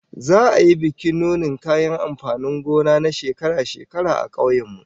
Za'a yi bikin nunin kayan amfanin gona na shekara-shekara a kauyen mu